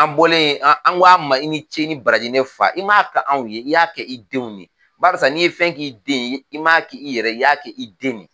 An bɔlen an, an ko a ma i ni ce i ni baraji ne fa. I ma kɛ anw ye i y'a kɛ i denw de ye . Barisa n'i ye fɛn k'i den ye i m'a kɛ i yɛrɛ ye, i ya kɛ i den de ye.